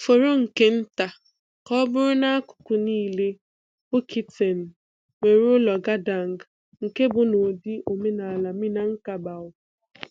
Fọrọ nke nta ka ọ bụrụ n’akụkụ niile, Bukittinggi nwere ụlọ Gadang nke bụ um ụdị omenala Minangkabau.